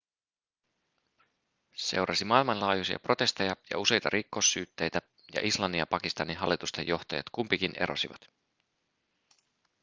seurasi maailmanlaajuisia protesteja ja useita rikossyytteitä ja islannin ja pakistanin hallitusten johtajat kumpikin erosivat